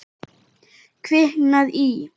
Kviknað í.